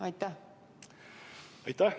Aitäh!